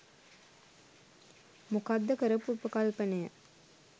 මොකක්ද කරපු උපකල්පනය